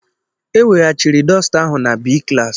E weghachiri dosita ahụ na Bii klaasị.